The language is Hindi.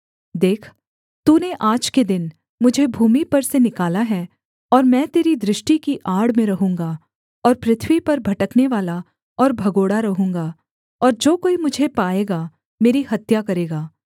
देख तूने आज के दिन मुझे भूमि पर से निकाला है और मैं तेरी दृष्टि की आड़ में रहूँगा और पृथ्वी पर भटकने वाला और भगोड़ा रहूँगा और जो कोई मुझे पाएगा मेरी हत्या करेगा